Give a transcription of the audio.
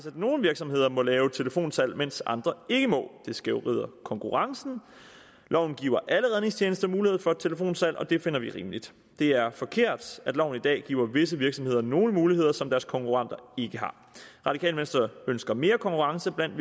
at nogle virksomheder må lave telefonsalg mens andre ikke må det skævvrider konkurrencen loven giver alle redningstjenester mulighed for telefonsalg og det finder vi rimeligt det er forkert at loven i dag giver visse virksomheder nogle muligheder som deres konkurrenter ikke har radikale venstre ønsker mere konkurrence blandt